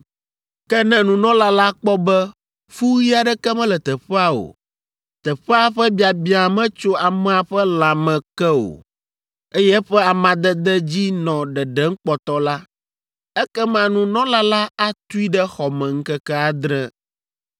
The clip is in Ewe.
Ke ne nunɔla la kpɔ be fu ɣi aɖeke mele teƒea o, teƒea ƒe biabia metso amea ƒe lãme ke o, eye eƒe amadede dzi nɔ ɖeɖem kpɔtɔ la, ekema nunɔla la atui ɖe xɔ me ŋkeke adre,